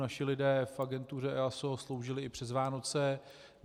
Naši lidé v agentuře EASO sloužili i přes Vánoce.